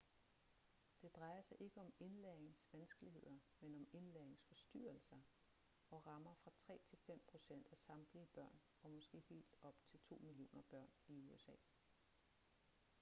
det drejer sig ikke om indlæringsvanskeligheder men om indlæringsforstyrrelser og rammer fra 3 til 5 procent af samtlige børn og måske helt op til 2 millioner børn i usa